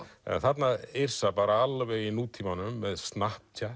en þarna er Yrsa alveg í nútímanum með